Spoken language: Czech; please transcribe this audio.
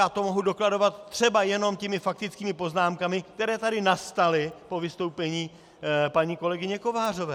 Já to mohu dokladovat třeba jenom těmi faktickými poznámkami, které tady nastaly po vystoupení paní kolegyně Kovářové.